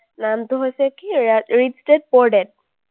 নামটো হৈছে কি, rich dad, poor dad